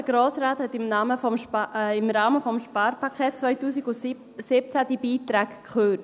Der Grosse Rat hatte im Namen des Sparpakets 2017 diese Beiträge gekürzt.